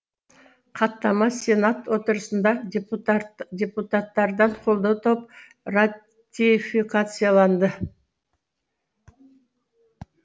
хаттама сенат отырысында депутаттардан қолдау тауып ратификацияланды